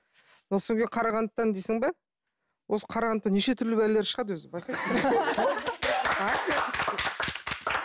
қарағандыдан дейсің бе осы қарағандыдан неше түрлі бәлелер шығады өзі байқайсыңдар ма